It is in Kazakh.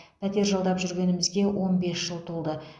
пәтер жалдап жүргенімізге он бес жыл толды